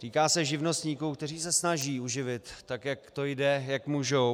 Týká se živnostníků, kteří se snaží uživit, tak jak to jde, jak můžou.